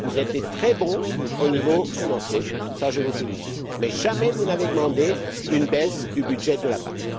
Vous êtes très bons au niveau financier, et je vous félicite, mais jamais, vous n'avez demandé une baisse du budget de la PAC!